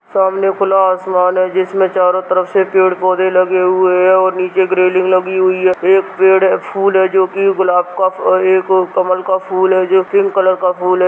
सामने खुला आसमान है जिसमे चारों तरफ से पेड़-पौधे लगे हुए हैं और नीचे एक रेलिंग लगी हुई है एक पेड़ है फूल है जोकि गुलाब का एक कमल का फूल है जो पिंक कलर का फूल है।